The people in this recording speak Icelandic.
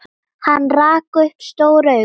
Hann rak upp stór augu.